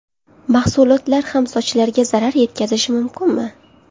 Mahsulotlar ham sochlarga zarar yetkazishi mumkinmi?